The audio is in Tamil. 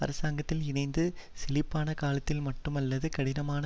அரசாங்கத்தில் இணைந்து செழிப்பானகாலத்தில் மட்டுமல்லாது கடினமான